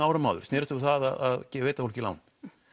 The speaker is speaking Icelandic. árum áður snerist um það að veita fólki lán